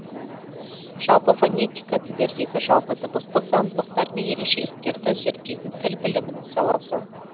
жалпы фонетика тілдердегі жалпы дыбыстық заңдылықтар мен ерекшеліктерді зерттейтін тіл білімнің саласы